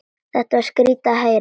Þetta var skrýtið að heyra.